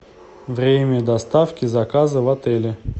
время доставки заказа в отеле